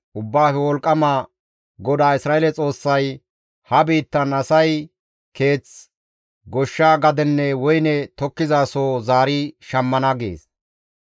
Ubbaafe Wolqqama GODAA Isra7eele Xoossay, «Ha biittan asay keeth, goshsha gadenne woyne tokkizasoho zaari shammana» gees.